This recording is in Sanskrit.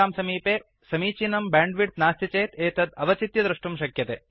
भवतां समीपे समीचीनं ब्याण्ड्विड्थ् नास्ति चेत् तद् अवचित्य द्रष्टुं शक्यते